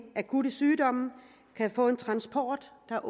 akutte sygdomme kan få en transport der